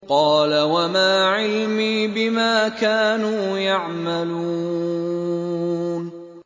قَالَ وَمَا عِلْمِي بِمَا كَانُوا يَعْمَلُونَ